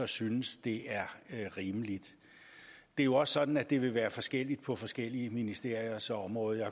synes det er rimeligt det er jo også sådan at det vil være forskelligt på forskellige ministeriers område